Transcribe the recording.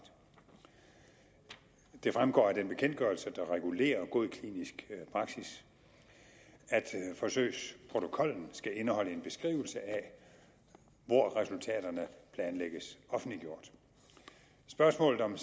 det fremgår af den bekendtgørelse der regulerer god klinisk praksis at forsøgsprotokollen skal indeholde en beskrivelse af hvor resultaterne planlægges offentliggjort spørgsmålet om